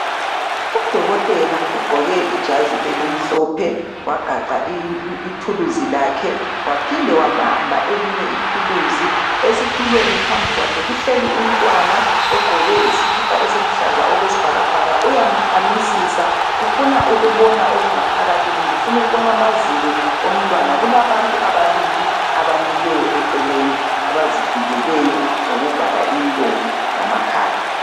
Udokotela ugqoke ijazi elimhlophe wagaqa ituluzi lakhe, waphinde wabamba elinye ituluzi esitulweni phambi kwakhe kuhleli umntwana ogqoke isikhipha esiluhlaza okwesibhakabhaka uyamkhamisisa ufuna ukubona okungaphakathi, kumbe ufuna ukubona amazinyo omntwana kulabantu ababili abamileyo eceleni abazivikeleyo ngokuvala imilomo lamakhala.